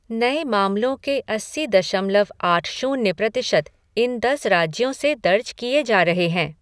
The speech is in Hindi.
नए मामलों के अस्सी दशमलव आठ शून्य प्रतिशत इन दस राज्यों से दर्ज किए जा रहे हैं।